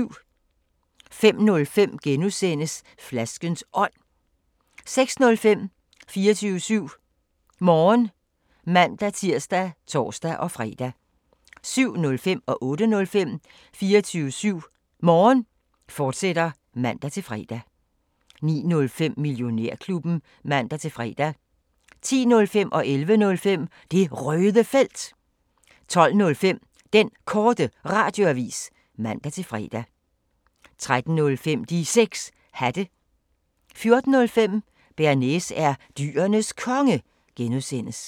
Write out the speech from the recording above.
05:05: Flaskens Ånd (G) 06:05: 24syv Morgen (man-tir og tor-fre) 07:05: 24syv Morgen, fortsat (man-fre) 08:05: 24syv Morgen, fortsat (man-fre) 09:05: Millionærklubben (man-fre) 10:05: Det Røde Felt 11:05: Det Røde Felt 12:05: Den Korte Radioavis (man-fre) 13:05: De 6 Hatte 14:05: Bearnaise er Dyrenes Konge (G)